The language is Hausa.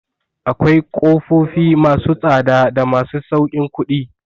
Akwai ƙofofi ma su tsada da masu sauƙin kuɗi.